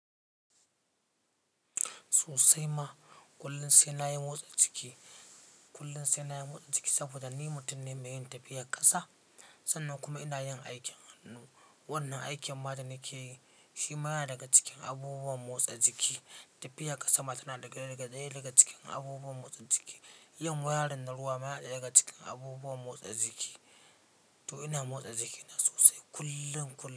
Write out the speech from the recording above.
Sosai ma, kullin sai na yi motsa jiki, kullin sai na yi motsa jiki saboda ni mutum ne mai yin tafiyar ƙasa. Sannan kuma ina yin aikin hannu. Wannan aikin matar yake yi, shi ma yana daga cikin abubuwan motsa jiki. Tafiyar ƙasa ma tana ɗaya daga cikin abubuwan motsa jiki. Yin wayarin na ruwa ma yana ɗaya daga cikin abubuwan motsa jiki. To ina motsa jikina sosai kullum kullum.